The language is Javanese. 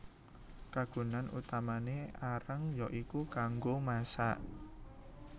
Kagunan utamané areng ya iku kanggo masak